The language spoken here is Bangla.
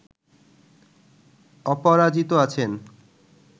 অপরাজিত আছেন